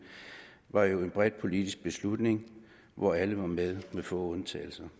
var jo en bred politisk beslutning hvor alle med få undtagelser